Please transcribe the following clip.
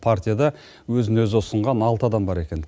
партияда өзін өзі ұсынған алты адам бар екен